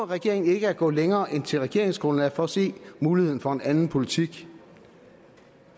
regeringen ikke at gå længere end til regeringsgrundlaget for at se muligheden for en anden politik